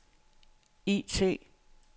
IT